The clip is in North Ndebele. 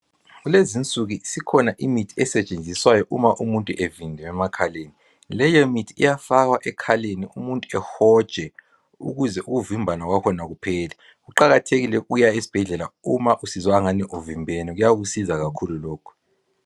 Kulezi insuku sikhona imithi esetshenziswayo uma umuntu evimbene emakhaleni leyo mithi iyafakwa emakhaleni umuntu ehotshe ukuze umvimbane wakhona uphele kuqakathekile ukuya esibhedlela uma usizwa angani uvimbene kuyakusiza kakhulu lokhu.